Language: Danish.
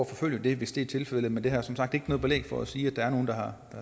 forfølge det hvis det er tilfældet men jeg har som sagt ikke noget belæg for at sige at der er nogen der har